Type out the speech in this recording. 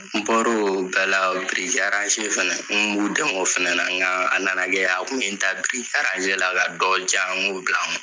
N bɔr'o bɛɛ la biriki fɛnɛ, n b'u dɛmɛ o fɛnɛ na nkaa a nana kɛ, a kun ye n ta biriiki la ka dɔ diyan ŋ'o bila n kun.